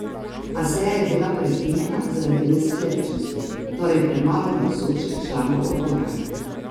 A seja je bila prekinjena zaradi nesklepčnosti, torej premalo navzočih članov odbora.